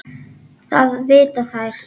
Það vita þær.